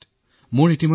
কোনো কথা নাই